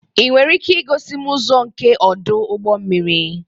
Ị nwere ike igosi m ụzọ nke ọdụ ụgbọ mmiri?